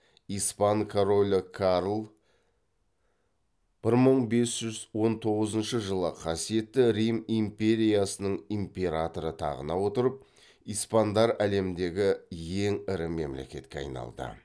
испан королі карл бір мың бес жүз он тоғызыншы жылы қасиетті рим империясының императоры тағына отырып испандар әлемдегі ең ірі мемлекетке айналды